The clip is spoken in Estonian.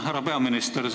Härra peaminister!